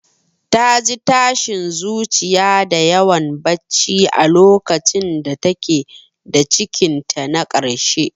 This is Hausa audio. Ta ji tashin zuciya da yawan barci a lokacin da ta ke da cikinta na karshe.